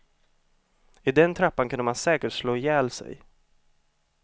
I den trappan kunde man säkert slå ihjäl sig.